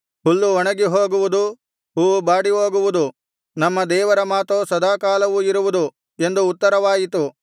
ಹುಲ್ಲು ಒಣಗಿ ಹೋಗುವುದು ಹೂವು ಬಾಡಿ ಹೋಗುವುದು ನಮ್ಮ ದೇವರ ಮಾತೋ ಸದಾಕಾಲವೂ ಇರುವುದು ಎಂದು ಉತ್ತರವಾಯಿತು